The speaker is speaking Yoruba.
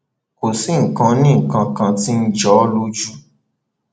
kò sí nǹkan onínǹkan kan tí ì jọ ọ lójú